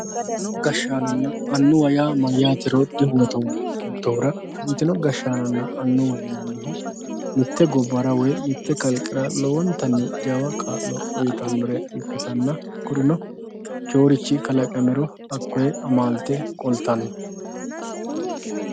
afantinno gashaanonna annuwa yaa mayaatero dibuuxoomo yootohura afantinno gashaanonna annuwa yinannihu mitte gobbara woy mitte kaiqera lowontanni jawa kaalo uyiitannore ikkitana kurino ikkiyoorichi kalaqamiro hakoyee amaalte qolttanno